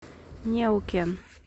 неукен